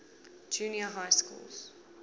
junior high schools